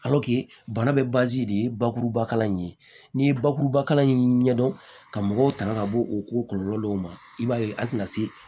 bana bɛ de ye bakuruba kala in ye n'i ye bakuruba kala in ɲɛdɔn ka mɔgɔw tanga ka bɔ o ko kɔlɔlɔ dɔw ma i b'a ye a tɛna se